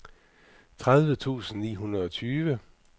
tredive tusind ni hundrede og tyve